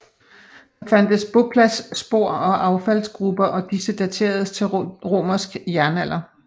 Der fandtes bopladsspor og affaldsgruber og disse dateredes til romersk jernalder